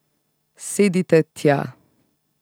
Sedite tja.